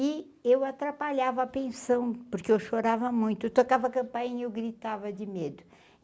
E eu atrapalhava a pensão, porque eu chorava muito, tocava campainha eu gritava de medo.